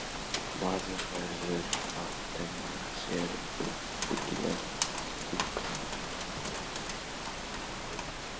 Maður verður að temja sér uppbyggilegt hugarfar.